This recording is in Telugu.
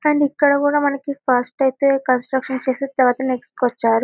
ఇక్కడ కూడా కన్స్ట్రక్షన్ చేసి నెక్స్ట్ కి వచ్చ్చారు.